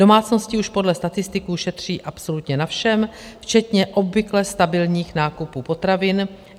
Domácnosti už podle statistiků šetří absolutně na všem, včetně obvykle stabilních nákupů potravin.